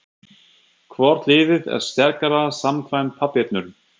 Hvort liðið er sterkara samkvæmt pappírnum?